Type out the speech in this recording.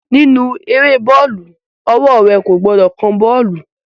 Nínú eré bọ́ọ̀lù, ọwọ́ rẹ̀ kò gbọdọ̀ kan bọ́ọ̀lù